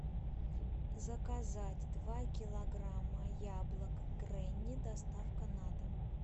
заказать два килограмма яблок гренни доставка на дом